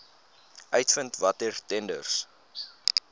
uitvind watter tenders